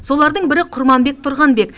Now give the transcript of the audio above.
солардың бірі құрманбек тұрғанбек